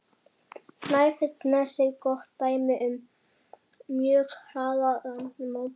Snæfellsnesi gott dæmi um mjög hraða landmótun.